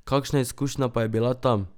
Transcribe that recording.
Kakšna izkušnja pa je bila tam?